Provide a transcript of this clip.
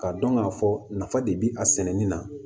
K'a dɔn k'a fɔ nafa de be a sɛnɛni na